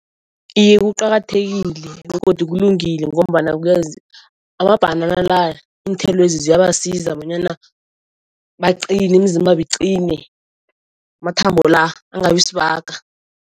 Iye kuqakathekile begodu kulungile ngombana amabhanana la, iinthelwezi ziyabasiza bonyana baqine, imizimbabo iqine, amathambo la angabi sibaga.